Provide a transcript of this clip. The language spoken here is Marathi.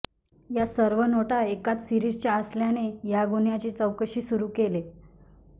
या सर्व नोटा एकाच सीरिजच्या असल्याने या गुन्ह्याची चौकशी सुरू केले